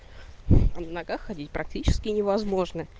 на ногах ходить практически невозможно